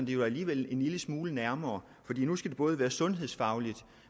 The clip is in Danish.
det jo alligevel en lille smule nærmere for nu skal det både være sundhedsfagligt og